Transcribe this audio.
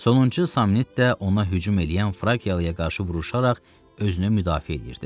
Sonuncu samnit də ona hücum eləyən frakiyalığa qarşı vuruşaraq özünü müdafiə eləyirdi.